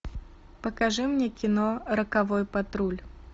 покажи мне кино роковой патруль